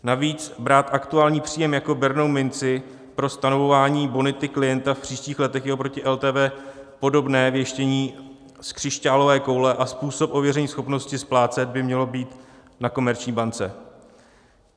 Navíc brát aktuální příjem jako bernou minci pro stanovování bonity klienta v příštích letech je oproti LTV podobně věštění z křišťálové koule a způsob ověření schopnosti splácet by měl být na komerční bance.